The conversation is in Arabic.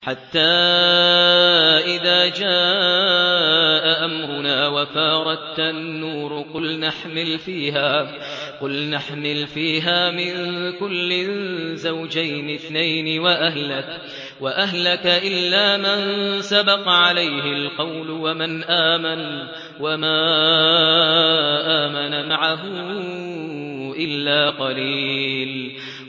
حَتَّىٰ إِذَا جَاءَ أَمْرُنَا وَفَارَ التَّنُّورُ قُلْنَا احْمِلْ فِيهَا مِن كُلٍّ زَوْجَيْنِ اثْنَيْنِ وَأَهْلَكَ إِلَّا مَن سَبَقَ عَلَيْهِ الْقَوْلُ وَمَنْ آمَنَ ۚ وَمَا آمَنَ مَعَهُ إِلَّا قَلِيلٌ